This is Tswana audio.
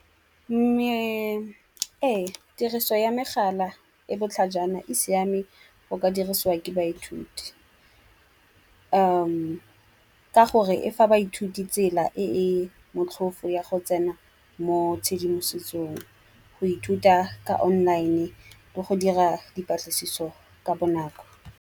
Ee, tiriso ya megala e botlhajana e siame go ka dirisiwa ke baithuti. Ka gore e fa baithuti tsela e e motlhofo ya go tsena mo tshedimosetsong go ithuta ka online-e le go dira dipatlisiso ka bonako.